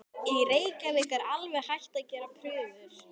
Í Reykjavík er alveg hætt að gera prufur.